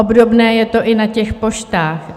Obdobné je to i na těch poštách.